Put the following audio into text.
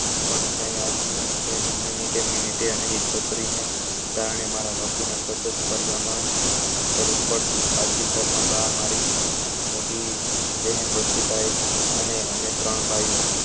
આવતી તેમ મિનેટે મિનેટે અને એવમ કરી ને કારણે મારા બાપુ ના કરવું પડતું આથી ઘર માં બા મારી મોટી બ્હેન વચ્ચે ભાઈ અને અમે ત્રણ